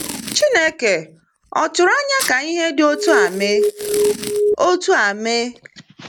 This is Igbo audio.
Chineke ò tụrụ anya ka ihe dị otú a mee? otú a mee?